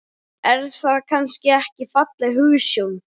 Er það kannski ekki falleg hugsjón?